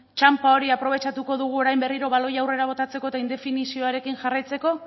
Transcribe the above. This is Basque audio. txanpa hori aprobetxatuko dugu orain berriro baloia aurrera botatzeko eta indefinizioarekin jarraitzeko